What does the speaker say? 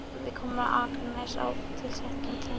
Við komum á Akranes á tilsettum tíma.